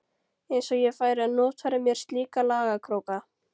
Eins og ég færi að notfæra mér slíka lagakróka.